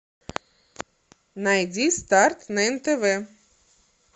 найди старт на нтв